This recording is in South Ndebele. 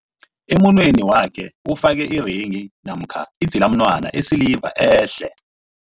Emunweni wakhe ufake irenghi namkha idzilamunwana yesiliva ehle.